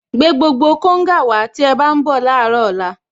Gbé gbogbo konga wàá tí ẹ bá ń bọ̀ láàárọ̀ ọ̀la